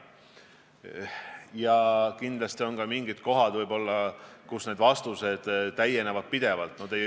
Ja kindlasti on ka mingid teemad, mille puhul vastused täienevad pidevalt.